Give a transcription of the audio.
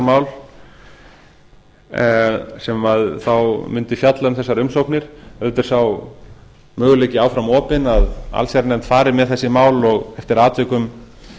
ríkisborgararéttarmál sem þá mundi fjalla um þessar umsóknir auðvitað er sá möguleiki enn þá opin að allsherjarnefnd fari með þessi mál og eftir atvikum